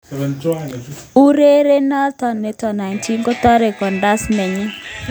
Urerenindet noto, 19 kotore kandaras nenyin eng let ab kasarta ngotkocham Barca kosir.